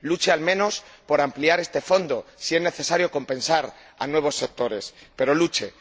Luche al menos por ampliar este Fondo si es necesario compensar a nuevos sectores, pero luche.